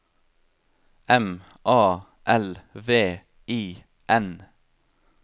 M A L V I N